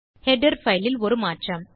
header fileல் ஒரு மாற்றம்